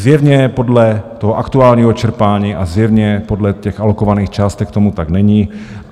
Zjevně podle toho aktuálního čerpání a zjevně podle těch alokovaných částek tomu tak není.